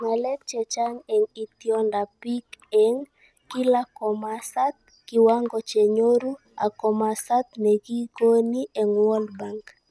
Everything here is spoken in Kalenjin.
Ngakek chechang eng itondoab bik eng: kila komasat, kiwango chenyoru, ak komosat nekikoni eng World Bank